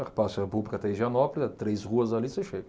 Praça da República, até Higienópolis, três ruas ali, você chega.